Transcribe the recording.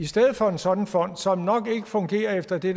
stedet for en sådan fond som nok ikke fungerer efter det